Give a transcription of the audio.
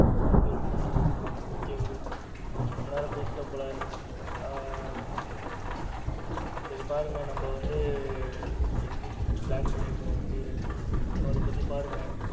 ரொம்ப ரொம்ப நல்லது bro okay bro ரொம்ப நேரம் பேசிட்டோம் போல ஆ போல சரி பாருங்க நம்ம வந்து picnic plan பண்ணி இருந்தோம் tour so அத பத்தி பாருங்க.